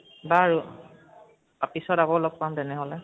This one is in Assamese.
বাৰু, পিছত আকৌ লʼগ পাম, তেনেহʼলে